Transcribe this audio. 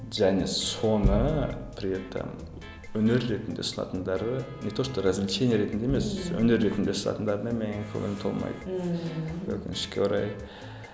және соны при этом өнер ретінде ұстайтындары не то что развлечение ретінде емес өнер ретінде ұстайтындарына менің көңілім толмайды ммм өкінішке орай